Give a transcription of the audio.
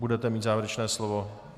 Budete mít závěrečné slovo.